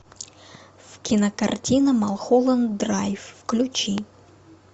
кинокартина малхолланд драйв включи